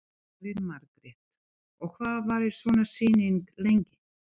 Elín Margrét: Og hvað varir svona sýning lengi?